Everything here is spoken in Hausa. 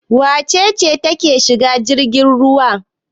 Wace ce take shiga jirgin ruwa?